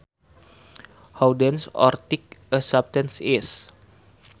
How dense or thick a substance is